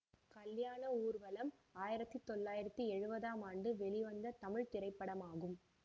கல்யாண ஊர்வலம் ஆயிரத்தி தொள்ளாயிரத்தி எழுவதாம் ஆண்டு வெளிவந்த தமிழ் திரைப்படமாகும்